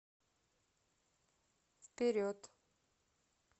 вперед